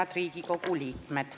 Head Riigikogu liikmed!